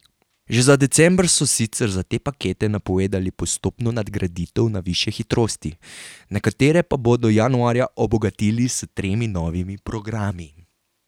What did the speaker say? Že za december so sicer za te pakete napovedali postopno nadgraditev na višje hitrosti, nekatere pa bodo januarja obogatili s tremi novimi programi.